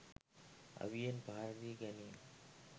අවියෙන් පහර දී ගැනීම